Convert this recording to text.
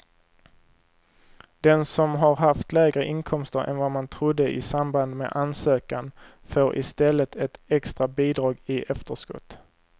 Den som har haft lägre inkomster än vad man trodde i samband med ansökan får i stället ett extra bidrag i efterskott.